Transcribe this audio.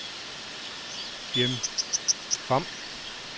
Jim Pham